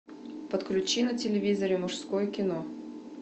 подключи на телевизоре мужское кино